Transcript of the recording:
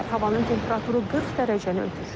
Havanın temperaturu 40 dərəcəni ötür.